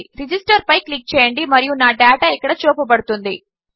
register పైక్లిక్చేయండిమరియునాడేటాఇక్కడచూపబడుతోండి